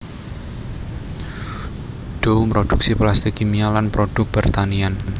Dow mroduksi plastik kimia lan produk pertanian